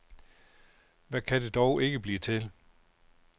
Hvad kan det dog ikke blive til.